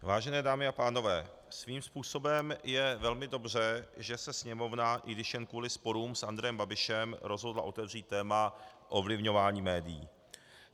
Vážené dámy a pánové, svým způsobem je velmi dobře, že se Sněmovna, i když jen kvůli sporům s Andrejem Babišem, rozhodla otevřít téma ovlivňování médií.